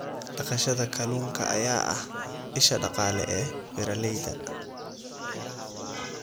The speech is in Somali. Dhaqashada kalluunka ayaa ah isha dhaqaale ee beeralayda.